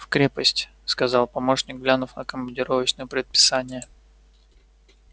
в крепость сказал помощник глянув на командировочное предписание